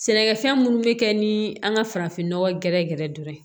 Sɛnɛkɛfɛn minnu bɛ kɛ ni an ka farafinnɔgɔ gɛrɛgɛrɛ dɔ ye